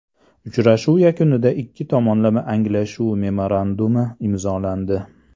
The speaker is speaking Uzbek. Uchrashuv yakunida ikki tomonlama anglashuv memorandumi imzolandi.